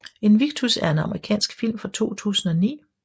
Invictus er en amerikansk film fra 2009